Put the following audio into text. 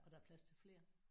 Og der er plads til flere